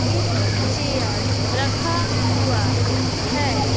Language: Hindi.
एक चेयर रखा हुआ है।